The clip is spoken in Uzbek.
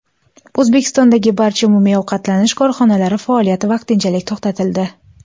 O‘zbekistondagi barcha umumiy ovqatlanish korxonalari faoliyati vaqtinchalik to‘xtatildi.